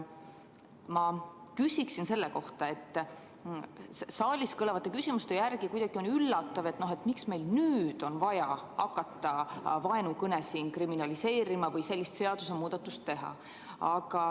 Ma küsin selle kohta, et saalis kõlavate küsimuste järgi on kuidagi üllatav, miks meil nüüd on vaja hakata vaenukõne kriminaliseerima või sellist seadusemuudatust tegema.